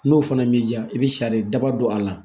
N'o fana b'i diya i bɛ sariya daba don a la